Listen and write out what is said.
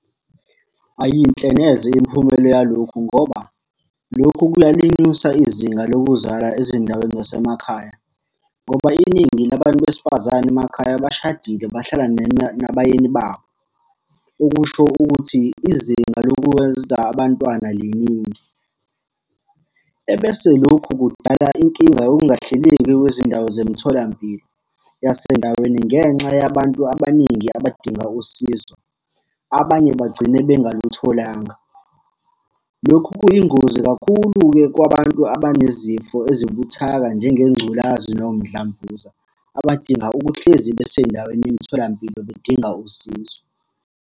Ayiyinhle neze imiphumela yalokhu ngoba, lokhu kuyalinyusa izinga lokuzala ezindaweni zasemakhaya, ngoba iningi labantu besifazane emakhaya bashadile bahlala nabayeni babo, okusho ukuthi izinga lokwenza abantwana liningi. Ebese lokhu kudala inkinga yokungahleleki kwezindawo zemtholampilo yasendaweni ngenxa yabantu abaningi abadinga usizo, abanye bagcine bengalutholanga. Lokhu kuyingozi kakhulu-ke kwabantu abanezifo ezibuthaka njengengculazi nomdlavuza, abadinga ukuhlezi besendaweni yemtholampilo bedinga usizo.